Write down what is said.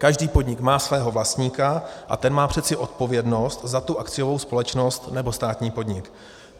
Každý podnik má svého vlastníka a ten má přece odpovědnost za tu akciovou společnost nebo státní podnik.